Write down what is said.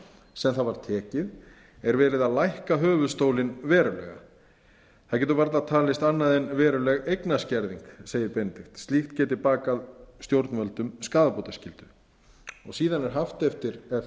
sem það var tekið er verið að lækka höfuðstólinn verulega það getur varla talist annað en veruleg eignaskerðing segir benedikt slíkt getur bakað stjórnvöldum skaðabótaskyldu síðan er haft eftir